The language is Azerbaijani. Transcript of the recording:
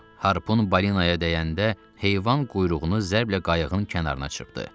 Harpun balinaya dəyəndə heyvan quyruğunu zərblə qayığın kənarına çırpdı.